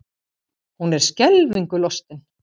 Hún er skelfingu lostin.